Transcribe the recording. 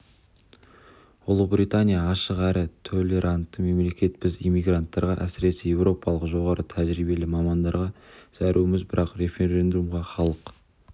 ұлыбритания ашық әрі толерантты мемлекет біз иммигранттарға әсіресе еуропалық жоғары тәжірибелі мамандарға зәруміз бірақ референдумда халық